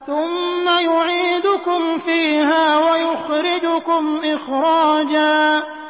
ثُمَّ يُعِيدُكُمْ فِيهَا وَيُخْرِجُكُمْ إِخْرَاجًا